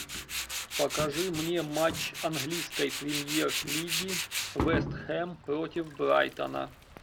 покажи мне матч английской премьер лиги вест хэм против брайтона